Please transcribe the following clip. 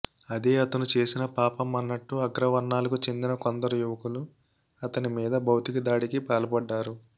అదే అతను చేసిన పాపం అన్నట్టు అగ్రవర్ణాలకు చెందిన కొందరు యువకులు అతని మీద భౌతికదాడికి పాల్పడ్డారు